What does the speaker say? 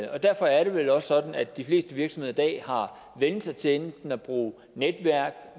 og derfor er det vel også sådan at de fleste virksomheder i dag har vænnet sig til enten at bruge netværk